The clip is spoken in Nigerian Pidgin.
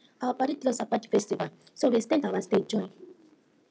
our padi tell us about di festival so we ex ten d our stay join